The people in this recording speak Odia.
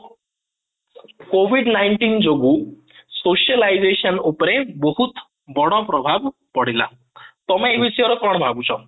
covid nineteen ଯୋଗୁ socialization ଉପରେ ବହୁତ ବଡ ପ୍ରଭାବ ପଡିଲା ତମେ ୟେ ବିଷୟରେ କ'ଣ ଭାବୁଛ ?